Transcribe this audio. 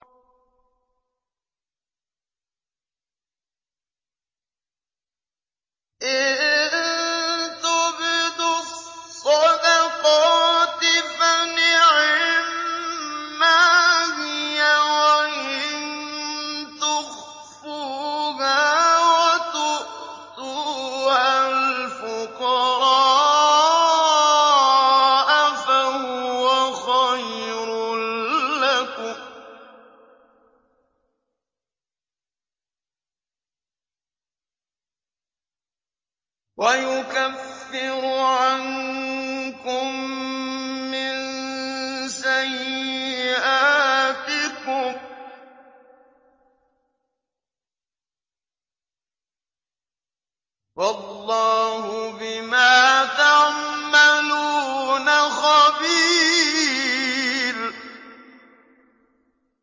إِن تُبْدُوا الصَّدَقَاتِ فَنِعِمَّا هِيَ ۖ وَإِن تُخْفُوهَا وَتُؤْتُوهَا الْفُقَرَاءَ فَهُوَ خَيْرٌ لَّكُمْ ۚ وَيُكَفِّرُ عَنكُم مِّن سَيِّئَاتِكُمْ ۗ وَاللَّهُ بِمَا تَعْمَلُونَ خَبِيرٌ